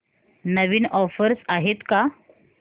नवीन offers आहेत का